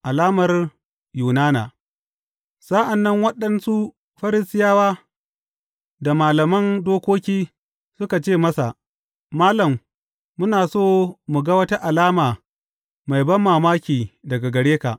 Alamar Yunana Sa’an nan waɗansu Farisiyawa da malaman dokoki suka ce masa, Malam, muna so mu ga wata alama mai banmamaki daga gare ka.